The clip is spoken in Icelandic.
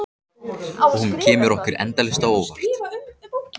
Og hún kemur okkur endalaust á óvart.